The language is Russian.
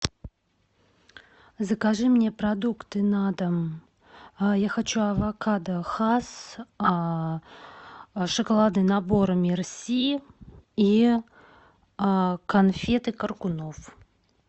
закажи мне продукты на дом я хочу авокадо хас шоколадный набор мерси и конфеты каркунов